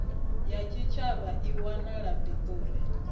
wa tshitshavha i wanala pretoria